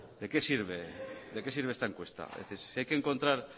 de qué sirve de qué sirve esta encuesta es decir si hay que encontrar